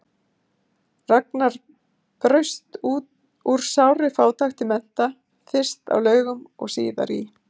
Ragnar braust úr sárri fátækt til mennta, fyrst á Laugum og síðar í